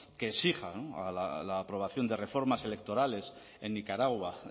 que exija la aprobación de reformas electorales en nicaragua